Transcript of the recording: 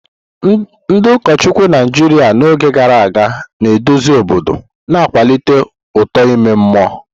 Ndị ụkọchukwu Naijiria n'oge gara aga na-eduzi obodo, na-akwalite uto ime mmụọ.